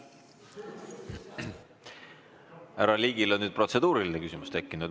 Härra Ligil on nüüd protseduuriline küsimus tekkinud.